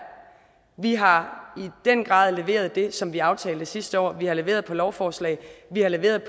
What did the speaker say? vi har i den grad leveret det som vi aftalte sidste år vi har leveret gennem lovforslag og vi har leveret